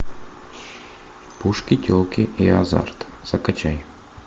пушки телки и азарт закачай